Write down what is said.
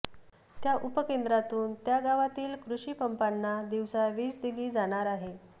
त्या उपकेंद्रातून त्या गावातील कृषिपंपांना दिवसा वीज दिली जाणार आहे